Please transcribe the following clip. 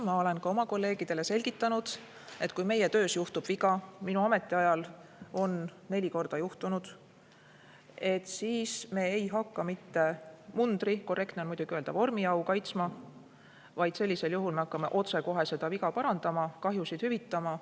Ma olen ka oma kolleegidele selgitanud, et kui meie töös juhtub viga – minu ametiajal on neli korda juhtunud –, siis me ei hakka mitte mundriau või korrektne on muidugi öelda vormiau kaitsma, vaid sellisel juhul me hakkame otsekohe seda viga parandama, kahjusid hüvitama.